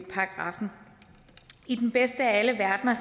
paragraffen i den bedste af alle verdener